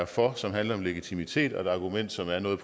for som handler om legitimitet og et argument som er noget